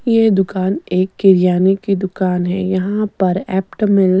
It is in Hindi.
ये दुकान एक किरयाने की दुकान है यहाँ पर ऐप्ट मिल --